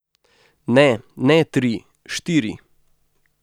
Ne, ne tri, štiri.